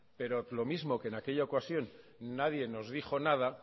pero lo mismo que en aquella ocasión nadie nos dijo nada